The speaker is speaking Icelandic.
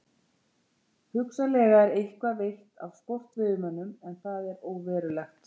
Hugsanlega er eitthvað veitt af sportveiðimönnum en það er óverulegt.